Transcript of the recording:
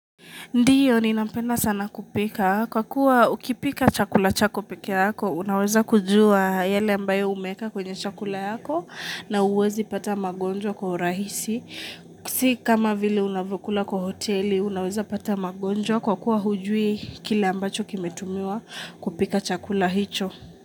Ndiyo, ni nampenda sana kupika. Kwa kuwa ukipika chakula chako peke yako, unaweza kujua yale ambayo umeeka kwenye chakula yako na huwezi pata magonjwa kwa rahisi. Sikama vile unavyokula kwa hoteli, unaweza pata magonjwa kwa kuwa hujui kile ambacho kimetumiwa kupika chakula hicho.